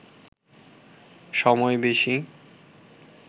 সময় বেশি